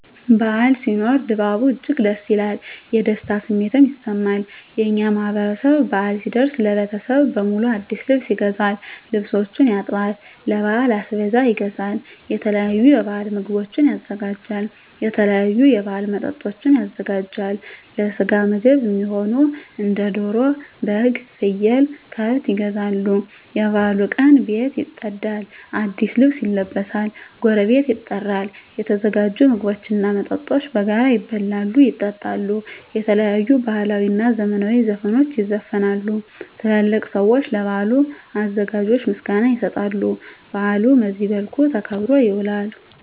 በዓል ሲኖር ድባቡ እጅግ ደስ ይላል። የደስታ ስሜትም ይሰማል። የእኛ ማህበረሰብ በአል ሲደርስ ለቤተሰብ በሙሉ አዲስ ልብስ ይገዛል፤ ልብሶችን ያጥባል፤ ለበዓል አስቤዛ ይገዛል፤ የተለያዩ የበዓል ምግቦችን ያዘጋጃል፤ የተለያዩ የበዓል መጠጦችን ያዘጋጃል፤ ለስጋ ምግብ እሚሆኑ እንደ ደሮ፤ በግ፤ ፍየል፤ ከብት ይገዛሉ፤ የበዓሉ ቀን ቤት ይፀዳል፤ አዲስ ልብስ ይለበሳል፤ ጎረቤት ይጠራል፤ የተዘጋጁ ምግቦች እና መጠጦች በጋራ ይበላሉ፤ ይጠጣሉ፤ የተለያዩ ባህላዊ እና ዘመናዊ ዘፈኖች ይዘፈናሉ፤ ትላልቅ ሰዊች ለበዓሉ አዘጋጆች ምስጋና ይሰጣሉ፤ በአሉ በዚህ መልክ ተከብሮ ይውላል።